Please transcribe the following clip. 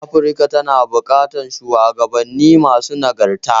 Afirka tana buƙatar shuwagabanni masu nagarta.